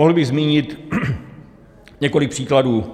Mohl bych zmínit několik příkladů.